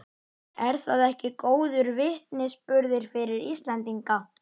Er það ekki góður vitnisburður fyrir Íslendinga?